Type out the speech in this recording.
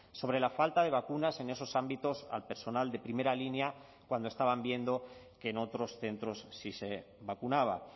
sobre la falta de vacunas en esos ámbitos al personal de primera línea cuando estaban viendo que en otros centros sí se vacunaba